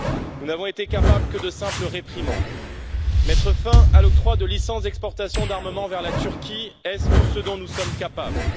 Nous n'avons été capables que de simples réprimandes. Mettre fin à l'octroi de licences d'exportation d'armements vers la Turquie, est ce tout ce dont nous sommes capables?